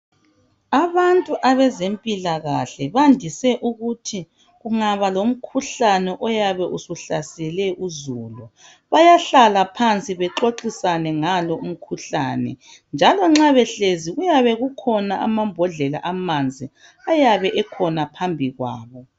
Abantu abezempilakahle bandise ukuthi kungaba lomkhuhlane oyabe usuhlasele uzulu bayahlala phansi bexoxisane ngalo umkhuhlane, njalo nxa behlezi kuyabe kukhona amambodlela amanzi ayabe ekhona phambi kwabo .